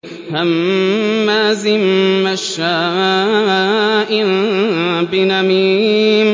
هَمَّازٍ مَّشَّاءٍ بِنَمِيمٍ